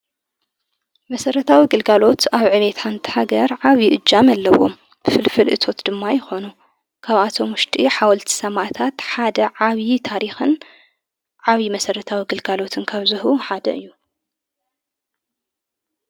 መሠረታዊ ኣግልጋሎት ኣብ ዕኒታ እንተሃገር ዓዊዪ እጃምኣለዎም ፍልፍልእቶት ድማ ይኾኑ ካብኣቶም ሙሽጢ ሓወልቲ ሰማእታት ሓደ ዓብዪ ታሪኽን ዓዊዪ መሠረታዊ እግልጋሎትን ከብዝሁ ሓደ እዩ።